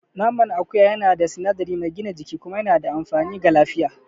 Naman akuya yana da sinadari mai gina jiki kuma yana da amfani ga lafiya.